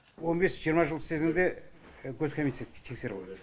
он бес жиырма жыл істесең де гос комиссия тексереді